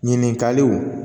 Ɲininkaliw